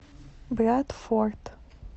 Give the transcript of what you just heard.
брадфорд